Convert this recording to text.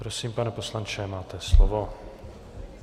Prosím, pane poslanče, máte slovo.